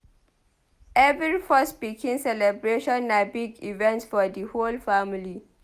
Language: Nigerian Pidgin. Every first pikin celebration na big event for di whole family.